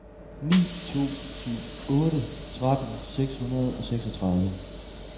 ni to syv otte tretten seks hundrede og seksogtredive